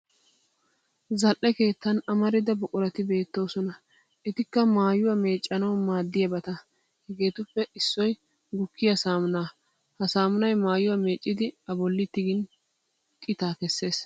Zal'e keettan amarida buqurati beettoosona etikka maayuwaa meeccanawu maadiyabata. Hegeetuppe issoy gukkiya saammunaa ha saammunay maayuwa meecciddi a bolli tigin qitaa kesses.